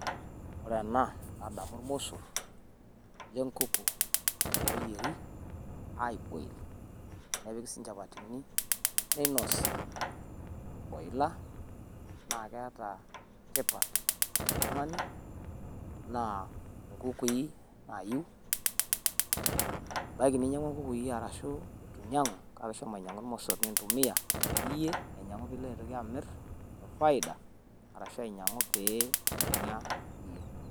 Ore ena nadamu ilmossor le nkuku ooyieri ai boil. Nepiki sii nchapatini neinosi o ila naa keeta tipat toltung`ani naa nkukui naayiu. Ebaiki ninyiang`ua nkukui arashu itu nyiang`u kake ishomo ainyiang`u ilmosorr nintumiya iyie, aijiang`u pee ilo aitoki amirr te faida arashu ainyiang`u pee inyia iyie.